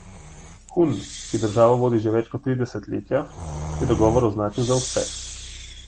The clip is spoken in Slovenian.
Hun, ki državo vodi že več kot tri desetletja, je dogovor označil za uspeh.